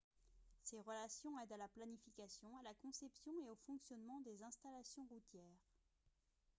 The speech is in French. ces relations aident à la planification à la conception et au fonctionnement des installations routières